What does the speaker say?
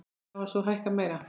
Laun hafa svo hækkað meira.